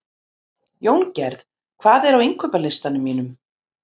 Jóngerð, hvað er á innkaupalistanum mínum?